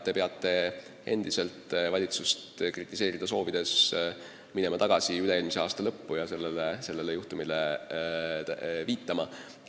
Kui te soovite valitsust kritiseerida, siis peate minema tagasi üle-eelmise aasta lõppu ja sellele juhtumile viitama.